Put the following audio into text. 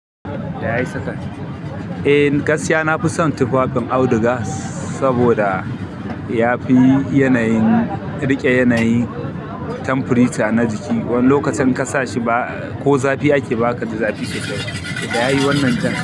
Eh gaskiya nafi son tufafin auduga saboda yafi yanayin riƙe yanayin temperature na jiki. Wani lokacin in kasa shi ba ko zafi ake bazaka ji zafi sosai ba. Da yayi wannan jan.